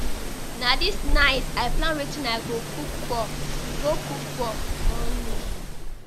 Na dis night I plan wetin I go cook for go cook for morning.